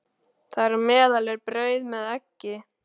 Þar á meðal er brauð með eggi.